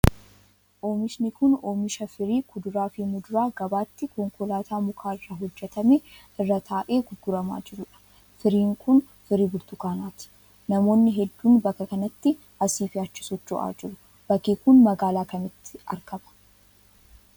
Oomishni kun, oomisha firii kuduraa fi muduraa gabaatti konkolaataa muka irraa hojjatame irra taa'ee gurguramaa jiruu dha. Firiin kun, firii burtukaanaati. Namoonni hedduun, bakka kanatti asii fi achii socho'aa jiru. Bakki kun, magaalaa kamitti argama?